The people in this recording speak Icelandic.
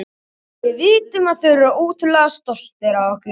Við vitum að þeir eru ótrúlega stoltir af okkur.